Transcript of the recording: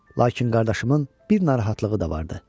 Lakin qardaşımın bir narahatlığı da vardı.